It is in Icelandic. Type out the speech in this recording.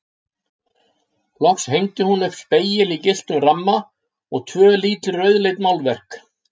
Loks hengdi hún upp spegil í gylltum ramma og tvö lítil rauðleit málverk.